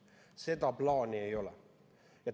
Seda plaani ei ole.